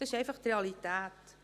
Das ist einfach die Realität.